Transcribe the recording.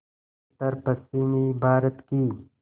उत्तरपश्चिमी भारत की